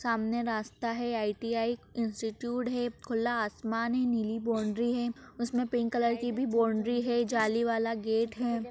सामने रास्ता है आई.टी.आई इंस्टिट्यूट है खुला आसमान है नीली बॉउन्ड्री है उसमें पिक कलर की भी बॉउन्ड्री है जाली वाला गेट है।